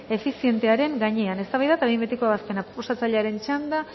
efizientearen gainean eztabaida eta behin betiko ebazpena proposatzailearen txanda